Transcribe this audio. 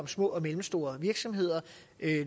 små og mellemstore virksomheder